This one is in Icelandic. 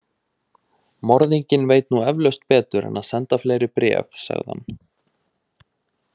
Morðinginn veit nú eflaust betur en að senda fleiri bréf, sagði hann.